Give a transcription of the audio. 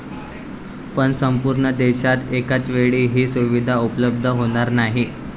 पण संपूर्ण देशात एकाचवेळी ही सुविधा उपलब्ध होणार नाही.